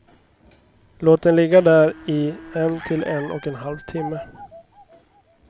Låt den ligga där i en till en och en halv timme.